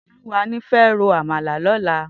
Toluwani fè ró ámàlá lòlá